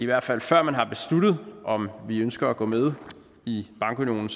hvert fald før man har besluttet om vi ønsker at gå med i bankunionen